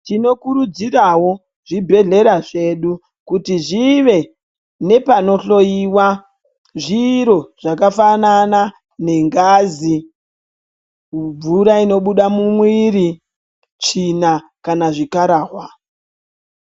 Tinokurudzirawo zvibhedhlera zvedu kuti zvive nepanohloiwa zviro zvakafanana ngengazi mumvura inobuda mumwiri tsvina kana zvikarahwa.